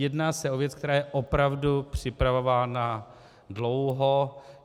Jedná se o věc, která je opravdu připravována dlouho.